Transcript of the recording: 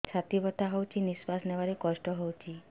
ଛାତି ବଥା ହଉଚି ନିଶ୍ୱାସ ନେବାରେ କଷ୍ଟ ହଉଚି